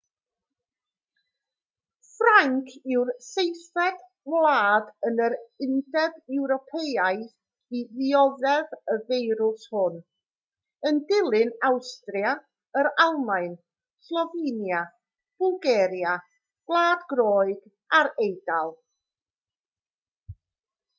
ffrainc yw'r seithfed wlad yn yr undeb ewropeaidd i ddioddef y feirws hwn yn dilyn awstria yr almaen slofenia bwlgaria gwlad groeg a'r eidal